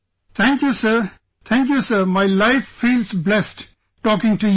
Thank you sir, Thank you sir, my life feels blessed, talking to you